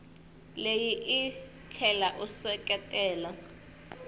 leyi u tlhela u seketela